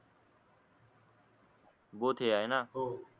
हे आहेना